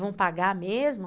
Vamos pagar mesmo?